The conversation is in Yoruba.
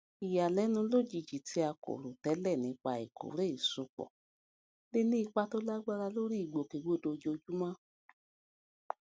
ìyàlénu lójijì tí a kò rò télè nípa ìkórè ìsopọ lè ní ipa tó lágbára lórí ìgbòkègbodò ojoojúmọ